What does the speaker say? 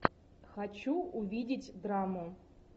хочу увидеть драму